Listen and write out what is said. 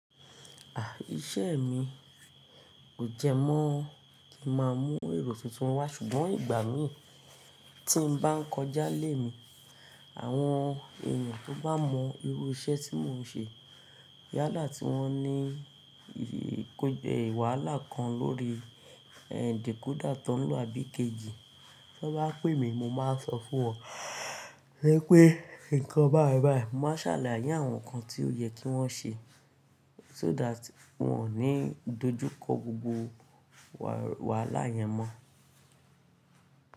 Ah! Iṣẹ́ mi kò jẹ mọ́ kí n máa mú èrò tuntun wá, ṣùgbọ́n ìgbà mí tí n bá ń kọjá lé mi, àwọn ènìyàn tó bá mọ irú iṣẹ́ tí mò ń ṣe, yálà tí wọ́n ní ìwàlá kan lórí decoder tánlò àbí kejì, tí wọ́n bá pè mí, mo máa sọ fún wọn pé, "Ǹkan báyibáyi" mo máa ṣàlàyé àwọn nǹkan tí ó yẹ kí wọ́n ṣe so that wọ́n ò ní dojú kọ gbogbo wàhálà yẹn mọ́